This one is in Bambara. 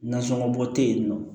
Nasɔngɔ bɔ tɛ yen nɔ